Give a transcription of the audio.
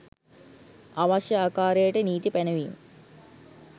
අවශ්‍ය ආකාරයට නීති පැනවීම්